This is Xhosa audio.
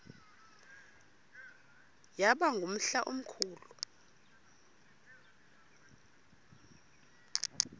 yaba ngumhla omkhulu